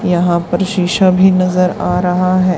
यहाँ पर शीशा भी नज़र आ रहा है।